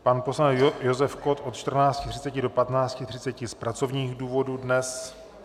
Pan poslanec Josef Kott od 14.30 do 15.30 z pracovních důvodů dnes.